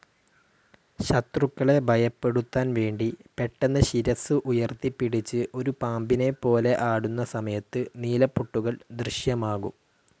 ശത്രുക്കളെ ഭയപ്പെടുത്താൻവേണ്ടി പെട്ടെന്ന് ശിരസ്സ് ഉയർത്തിപ്പിടിച്ച് ഒരു പാമ്പിനെപ്പോലെ ആടുന്ന സമയത്ത് നീലപ്പൊട്ടുകൾ ദൃശ്യമാകും.